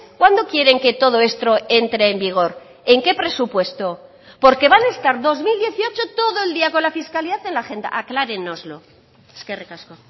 cuándo quieren que todo esto entre en vigor en qué presupuesto porque van a estar dos mil dieciocho todo el día con la fiscalidad en la agenda aclárenoslo eskerrik asko